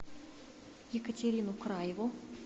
екатерину краеву